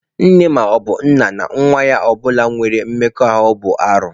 Nne maọbụ nna na nwa ha ọbụla inwe mmekọahụ bụ arụ.